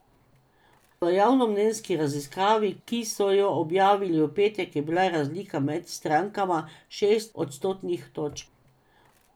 V javnomnenjski raziskavi, ki so jo objavili v petek, je bila razlika med strankama šest odstotnih točk.